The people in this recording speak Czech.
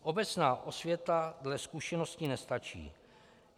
Obecná osvěta dle zkušeností nestačí.